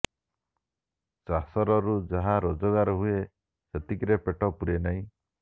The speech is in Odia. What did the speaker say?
ଚାଷରରୁ ଯାହା ରୋଜଗାର ହୁଏ ସେତିକିରେ ପେଟ ପୂରେ ନାହିଁ